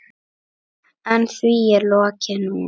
En því er lokið núna.